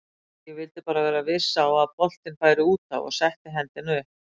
Ég vildi bara vera viss á að boltinn færi útaf og setti hendina upp.